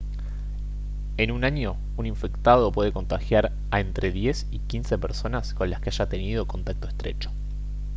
en un año un infectado puede contagiar a entre 10 y 15 personas con las que haya tenido contacto estrecho